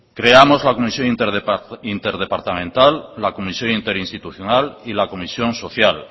creamos la comisión interdepartamental la comisión interinstitucional y la comisión social